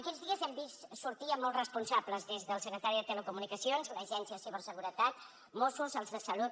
aquests dies hem vist sortir molts responsables des del secretari de telecomunicacions l’agència de ciberseguretat mossos els de salut